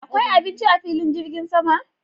Akwai abinci a filin jirgin sama?